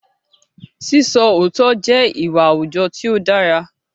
Sísọ òótọ́ jẹ́ ìwà àwùjọ tí dára